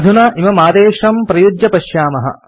अधुना इममादेशं प्रयुज्य पश्यामः